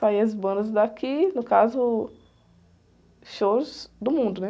Saía as bandas daqui, no caso, shows do mundo, né?